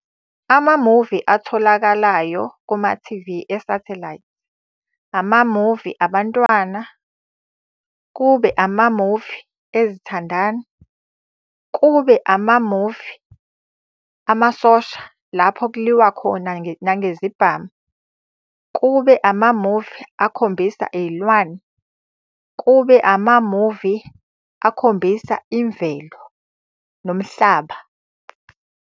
Amamuvi atholakalayo kuma-T_V esathelayithi. Amamuvi abantwana, kube amamuvi ezithandani, kube amamuvi amasosha lapho kuliwa khona nangezibhamu. Kube amamuvi akhombisa iy'lwane, kube amamuvi akhombisa imvelo, nomhlaba,